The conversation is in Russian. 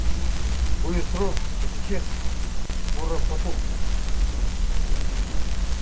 будет срок бессчётный скоро потухнет